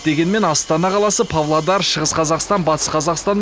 дегенмен астана қаласы павлодар шығыс қазақстан батыс қазақстан